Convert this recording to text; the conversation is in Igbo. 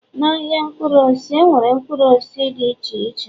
Na-ahịa mkpụrụ osisi, enwere mkpụrụ osisi dị iche iche